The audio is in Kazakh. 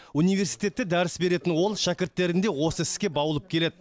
университетте дәріс беретін ол шәкірттерін де осы іске баулып келеді